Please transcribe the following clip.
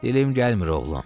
Dilim gəlmir, oğlum.